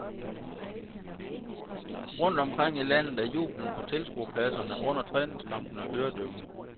Rundt omkring i landet er jubelen på tilskuerpladserne under træningskampene øredøvende.